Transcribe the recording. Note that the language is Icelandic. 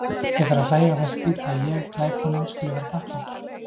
Ég fer að hlæja og finnst skrýtið að ég, glæponinn, skuli vera þakklátur.